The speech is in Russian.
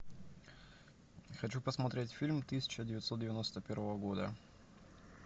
хочу посмотреть фильм тысяча девятьсот девяносто первого года